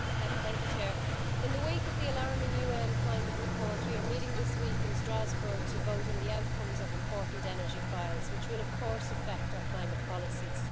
Madam President, in the wake of the alarming UN climate reports, we are meeting this week in Strasbourg to vote on the outcomes of important energy files which will of course affect our climate policies.